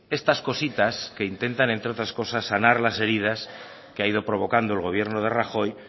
estas cositas que intentan entre otras cosas sanar las heridas que ha ido provocando el gobierno de rajoy